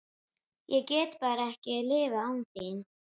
Ég get bara ekki lifað án þín.